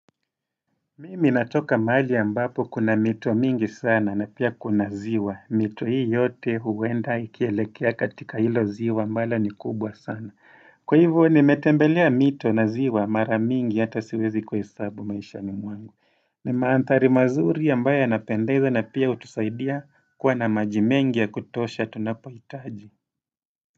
Mimi natoka mahari ambapo kuna mito mingi sana na pia kuna ziwa. Mito hii yote huenda ikielekea katika hilo ziwa mbala ni kubwa sana. Kwa hivyo nimetembelea mito na ziwa mara mingi hata siwezi kuhesabu maisha ni mwangu. Ni maandhari mazuri ambayo yanapendeza na pia hutusaidia kuwa na maji mengi ya kutosha tunapoihitaji.